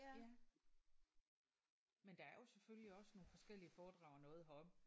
Ja men der er jo selvfølgelig også nogle forskellige foredrag og noget heroppe